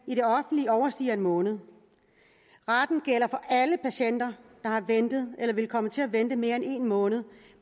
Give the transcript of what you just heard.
i overstiger en måned retten gælder for alle patienter der har ventet eller vil komme til at vente mere end en måned